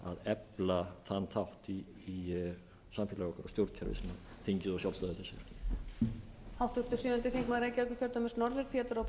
efla þann þátt í samfélagi okkar og stjórnkerfi sem þingið og sjálfstæði þess er